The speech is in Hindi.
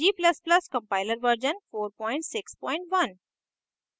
g ++ compiler version 461